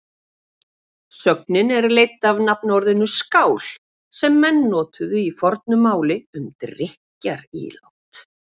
Sögnin er leidd af nafnorðinu skál sem menn notuðu í fornu máli um drykkjarílát.